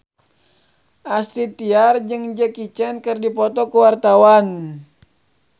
Astrid Tiar jeung Jackie Chan keur dipoto ku wartawan